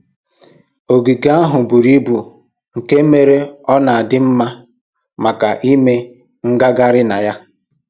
Ogige ahụ buru ibu nke mere na ọ na ọ dị mma maka ime ngagharị na ya